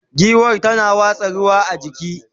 giwar tana watsa ruwa a jiki